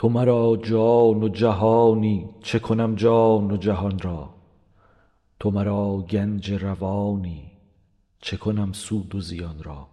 تو مرا جان و جهانی چه کنم جان و جهان را تو مرا گنج روانی چه کنم سود و زیان را